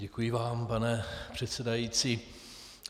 Děkuji vám, pane předsedající.